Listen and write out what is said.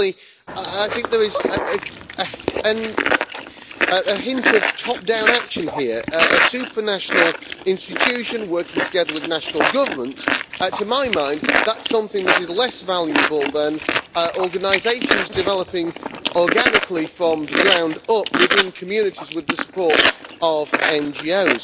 Firstly, I think there is a hint of top-down action here a supranational institution working together with national governments, to my mind, is something that is less valuable than organisations developing organically from the ground up within communities with the support of NGOs.